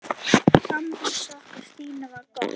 Samband okkar Stínu var gott.